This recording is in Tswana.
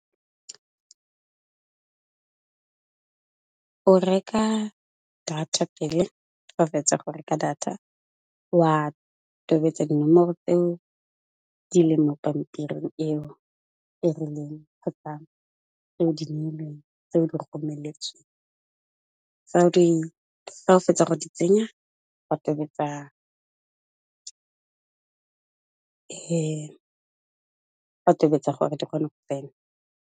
O reka data pele, fa o fetsa go reka data, wa tobetsa dinomoro tseo di leng mo pampiring eo e rileng kgotsa tseo di romeletsweng, fa o fetsa go di tsenya o tobetsa gore di kgone go tsena.